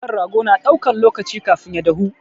Kan rago na ɗaukan lokaci kafin ya dahu.